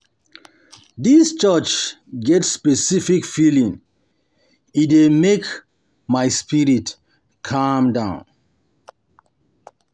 um Dis church get um special feeling, e dey make um my spirit calm down.